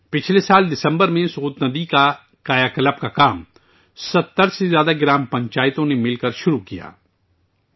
پچھلے سال دسمبر میں 70 سے زیادہ گرام پنچایتوں نے سوت ندی کی بحالی کا کام شروع کیا تھا